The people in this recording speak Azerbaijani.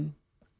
ana dilim.